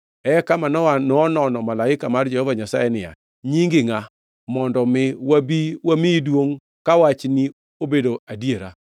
Eka Manoa nonono malaika mar Jehova Nyasaye niya, “Nyingi ngʼa; mondo mi wabi wamiyi duongʼ ka wachni obedo adiera?”